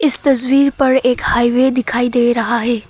इस तस्वीर पर एक हाईवे दिखाई दे रहा है।